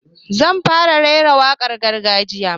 Zan fara raira wakar gargajiya